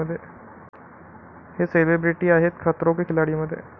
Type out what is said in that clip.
हे सेलिब्रिटी आहेत 'खतरों के खिलाडी'मध्ये